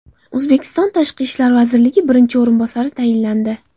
O‘zbekiston Tashqi ishlar vazirining birinchi o‘rinbosari tayinlandi.